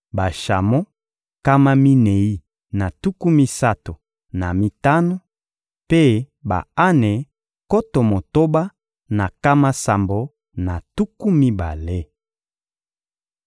bashamo nkama minei na tuku misato na mitano; mpe ba-ane nkoto motoba na nkama sambo na tuku mibale.